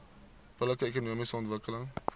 billike ekonomiese ontwikkeling